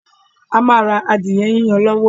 A ma ra adìẹ yiyan lọ́wọ́ ẹ̀